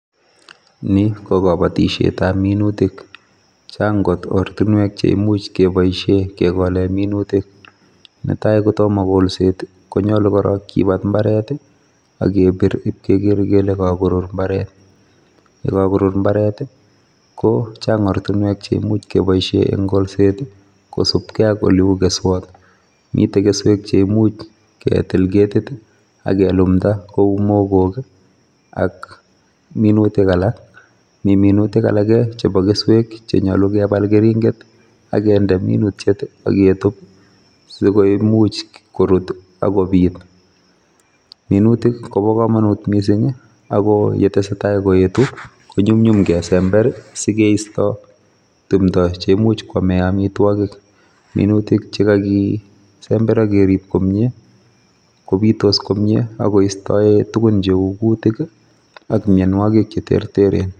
Ni ko kabatisietab minutik. Chang' kot ortinwek cheimuch kebaishe kekole minutik. Netai kotomo kolset konyolu korok kibat mbaret ak kebir ipkeker kele kakorur mbaret. Yekakorur mbartet, ko chang' ortinwek cheimuch kebaishe eng' kolset kosupkei ak oleu keswot. Mitei keswek cheimuch ketil ketit akelumda kou mogok ak minutik alak. Mi minutik alak chepo keswek chenyolu kepal keringet akende minutiet aketup sikomuch korut akopit. Minutik kobo komanut mising ako yetesetai koetu konyumnyum kesember sikeisto tumdo cheimuch koamee amitwagik. Minutik chekakisember ak kerip komie kopitos komie ak koistae tuguk cheu kutik ak mianwogik cheterterchin.